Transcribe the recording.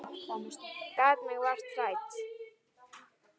Gat mig vart hrært.